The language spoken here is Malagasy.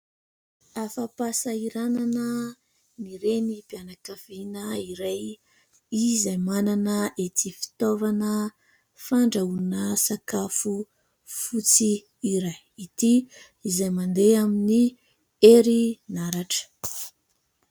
Afa-pahasahiranana ny Renim-pianakaviana iray, izay manana ity fitaovana fandrahoana sakafo fotsy iray ity, izay mandeha amin'ny herinaratra.